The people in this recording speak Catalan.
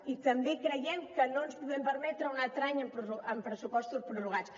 i també creiem que no ens podem permetre un altre any amb pressupostos prorrogats